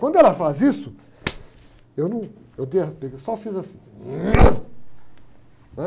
Quando ela faz isso, eu num, eu derrapei, eu só fiz assim